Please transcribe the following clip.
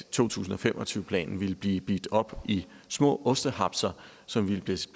to tusind og fem og tyve planen ville blive delt op i små ostehapser som ville blive